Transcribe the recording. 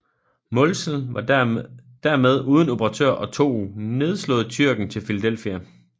Mälzel var dermed uden operatør og tog nedslået Tyrken til Philadelphia